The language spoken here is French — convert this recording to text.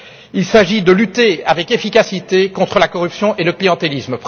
Il s'agit de lutter avec efficacité contre la corruption et le clientélisme.